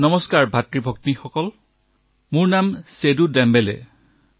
নমস্কাৰভাতৃ আৰু ভগ্নীসকল মোৰ নাম সেতু দেমবেলে